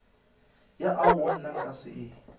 ya aowa nna nka se